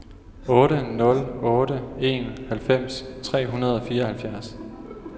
otte nul otte en halvfems tre hundrede og fireoghalvfjerds